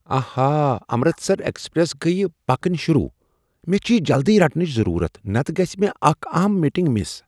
آہا! امرستر ایکسپریس گیہ پکن شروٗع۔ مےٚ چھ یہ جلدی رٹنٕچ ضٔروٗرت نتہٕ گژھِہ مےٚ اکھ اہم میٹنگ مِس۔